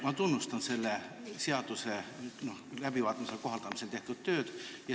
Ma tunnustan selle seaduse läbivaatamisel ja kohandamisel tehtud tööd.